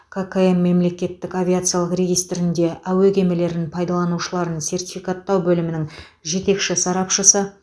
ккм мемлекеттік авиациялық регистрінде әуе кемелерін пайдаланушыларын сертификаттау бөлімінің жетекші сарапшысы